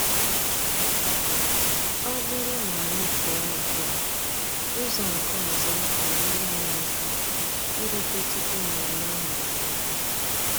Ọ bụrụ na anyị pụọ ugbua, ụzọ nke ọzọ ga-enyere anyị aka irute tupu mmemme ahụ amalite.